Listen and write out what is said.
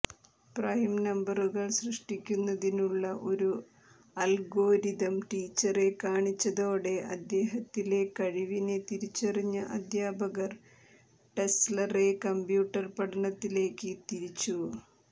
prime നമ്പറുകൾ സൃഷ്ടിക്കുന്നതിനുള്ള ഒരു അൽഗോരിതം ടീച്ചറെ കാണിച്ചതോടെ അദ്ദേഹത്തിലെ കഴിവിനെ തിരിച്ചറിഞ്ഞ അധ്യാപകർ ടെസ്ലറെ കമ്പ്യൂട്ടർ പഠനത്തിലേക്ക് തിരിച്ചു